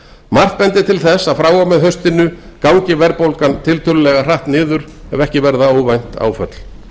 margt bendir til þess að frá og með haustinu gangi verðbólgan niður á nýjan leik ef ekki verða óvænt áföll